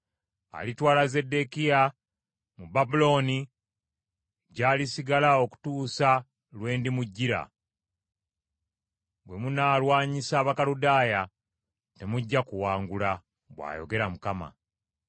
Alitwala Zeddekiya mu Babulooni, gy’alisigala okutuusa lwe ndimujjira. Bwe munaalwanyisa Abakaludaaya, temujja kuwangula,’ bw’ayogera Mukama .”